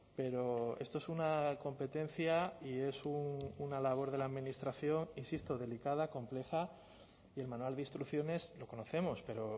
pero esto es una competencia y es una labor de la administración insisto delicada compleja y el manual de instrucciones lo conocemos pero